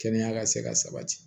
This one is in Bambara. Kɛnɛya ka se ka sabati